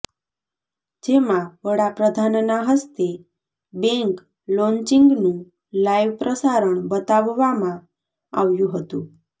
જેમાં વડાપ્રધાનના હસ્તે બેંક લોન્ચિંગનું લાઈવ પ્રસારણ બતાવવામાં આવ્યું હતું